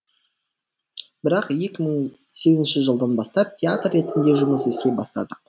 бірақ екі мың сегізінші жылдан бастап театр ретінде жұмыс істей бастадық